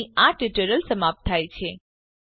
અહીં આ ટ્યુટોરીયલ સમાપ્ત થાય છે